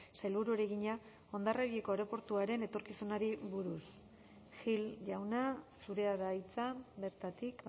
sailburuari egina hondarribiko aireportuaren etorkizunari buruz gil jauna zurea da hitza bertatik